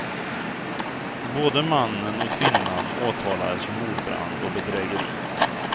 Både mannen och kvinnan åtalades för mordbrand och bedrägeri.